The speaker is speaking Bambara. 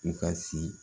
U ka si